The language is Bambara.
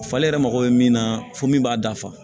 Falen yɛrɛ mago bɛ min na fo min b'a dafa